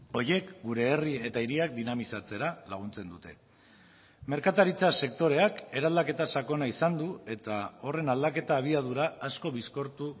horiek gure herri eta hiriak dinamizatzera laguntzen dute merkataritza sektoreak eraldaketa sakona izan du eta horren aldaketa abiadura asko bizkortu